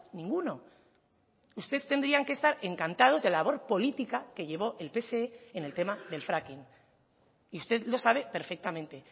ninguno ustedes tendrían que estar encantados de la labor política que llevó el pse en el tema del fracking y usted lo sabe perfectamente